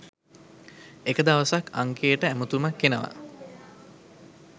එක දවසක් අංකයට ඇමතුමක් එනවා